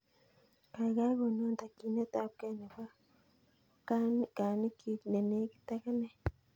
Kaigaigai konon takyinet ap kee nepo kaaninkuy ne negit ak ane